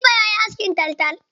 Kalifa yayi askin taltal.